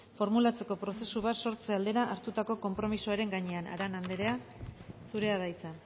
formulatzeko prozesu bat sortze aldera hartutako konpromisoaren gainean arana andrea zurea da hitza